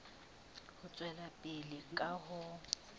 ho tswela pele ka ho